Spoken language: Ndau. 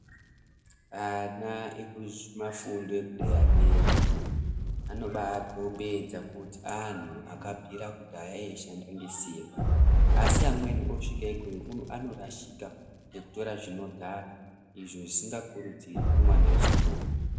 Ana ekumafundo ederadera anobakombidza kuti anhu akabvira kudhaya eishaunda ngesimba asi amweni asvika ikweyo anorashika ngekutira zvinodhaka izvo zvidingakurudzirwi kumwana wechikoro.